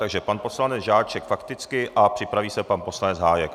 Takže pan poslanec Žáček fakticky a připraví se pan poslanec Hájek.